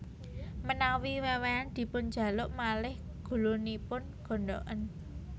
Menawi wewehan dipunjaluk malih gulunipun gondhoken